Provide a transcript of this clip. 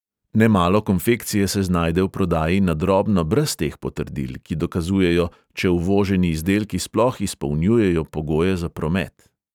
Nemalo konfekcije se znajde v prodaji na drobno brez teh potrdil, ki dokazujejo, če uvoženi izdelki sploh izpolnjujejo pogoje za promet.